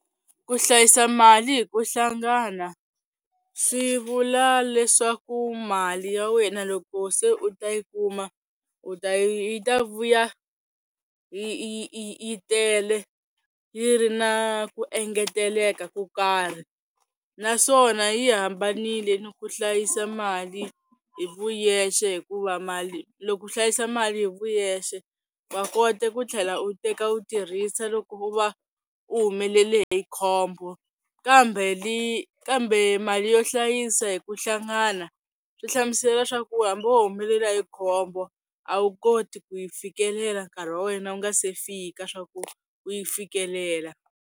Ku hlayisa mali hi ku hlangana swi vula leswaku mali ya wena loko se u ta yi kuma u ta yi ta vuya yi yi yi yi yi tele yi ri na ku engeteleka ko karhi, naswona yi hambanile ni ku hlayisa mali hi vuyexe hikuva mali loko u hlayisa mali hi vuyexe wa kota ku tlhela u teka u tirhisa loko u va u humelele hi khombo, kambe kambe mali yo hlayisa hi ku hlangana swi hlamusela swa ku hambi wo humelela hi khombo a wu koti ku yi fikelela nkarhi wa wena wu nga se fika swa ku u yi fikelela.